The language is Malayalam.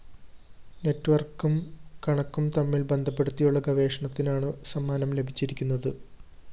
നെറ്റ്‌വര്‍ക്കും കണക്കും തമ്മില്‍ ബന്ധപ്പെടുത്തിയുള്ള ഗവേഷണത്തിനാണ് സമ്മാനം ലഭിച്ചിരിക്കുന്നത്